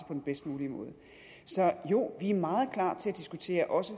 den bedst mulige måde så jo vi er meget klar til at diskutere også